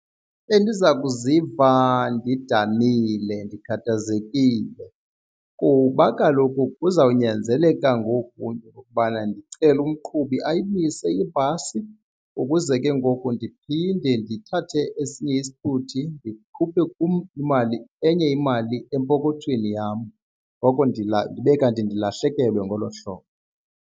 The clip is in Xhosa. Bendiza kuziva ndidanile ndikhathazekile kuba kaloku kuzawunyanzeleka ngoku into yokubana ndicele umqhubi ayibuyise ibhasi ukuze ke ngoku ndiphinde ndithathe esinye isithuthi ndikhuphe kum imali enye imali empokothweni yam. Ngoko ndibe kanti ndilahlekelwe ngolo hlobo.